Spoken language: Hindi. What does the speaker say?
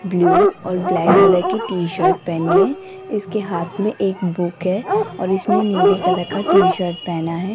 ब्लू और ब्लैक कलर टी-शर्ट पहनी है इसके हाथ में एक बुक है और इसमें नीले कलर का टी-शर्ट पहना है।